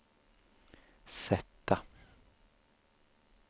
sätta